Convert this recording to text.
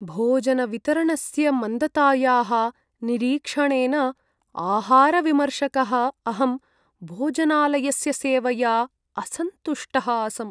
भोजनवितरणस्य मन्दतायाः निरीक्षणेन आहारविमर्शकः अहं भोजनालयस्य सेवया असन्तुष्टः आसम्।